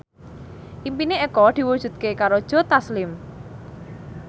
impine Eko diwujudke karo Joe Taslim